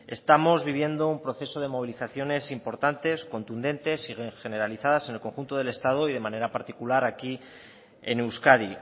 estamos viviendo un proceso de movilizaciones importantes contundentes y generalizadas en el conjunto del estado y de manera particular aquí en euskadi